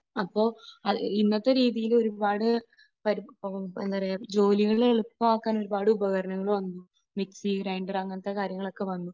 അപ്പോൾ ഇന്നത്തെ രീതിയിൽ ഒരുപാട് എന്താ പറയുക ജോലികൾ എളുപ്പമാക്കാൻ ഒരുപാട് ഉപകരണങ്ങൾ വന്നു. മിക്സി ഗ്രൈൻഡർ അങ്ങനത്തെ കാര്യങ്ങളൊക്കെ വന്നു.